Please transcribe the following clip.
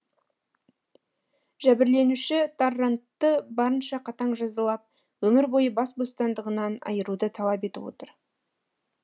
жәбірленуші таррантты барынша қатаң жазалап өмір бойы бас бостандығынан айыруды талап етіп отыр